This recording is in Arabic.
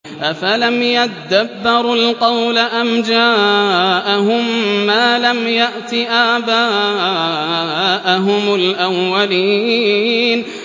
أَفَلَمْ يَدَّبَّرُوا الْقَوْلَ أَمْ جَاءَهُم مَّا لَمْ يَأْتِ آبَاءَهُمُ الْأَوَّلِينَ